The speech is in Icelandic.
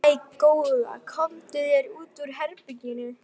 Æi, góða, komdu þér út úr herberginu!